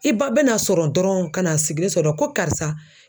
I ba bɛna sɔrɔ dɔrɔn ka na sigilen sɔrɔ ko karisa